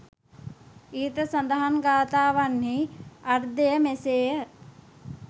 ඉහත සඳහන් ගාථාවන්හි අර්ථය මෙසේ ය.